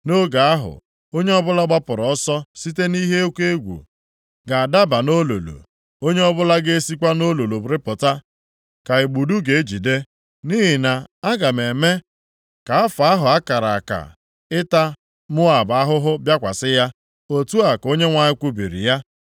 “Nʼoge ahụ, onye ọbụla gbapụrụ ọsọ site nʼihe oke egwu ga-adaba nʼolulu. Onye ọbụla ga-esikwa nʼolulu rịpụta ka igbudu ga-ejide. Nʼihi na aga m eme ka afọ ahụ a kara aka maka ịta Moab ahụhụ bịakwasị ya,” Otu a ka Onyenwe anyị kwubiri ya.